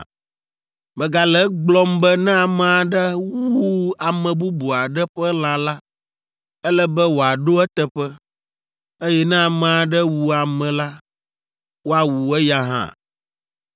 “ ‘Megale egblɔm be ne ame aɖe wu ame bubu aɖe ƒe lã la, ele be wòaɖo eteƒe, eye ne ame aɖe wu ame la, woawu eya hã.